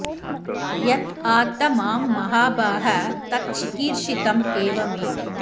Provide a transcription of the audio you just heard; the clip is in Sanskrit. यत् आत्थ मां महाभाग तत् चिकीर्षितम् एव मे